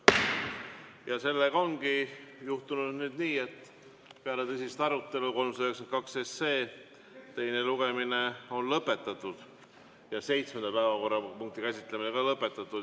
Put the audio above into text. Ja sellega ongi juhtunud nüüd nii, et peale tõsist arutelu on 392 SE teine lugemine lõpetatud ja seitsmenda päevakorrapunkti käsitlemine on ka lõpetatud.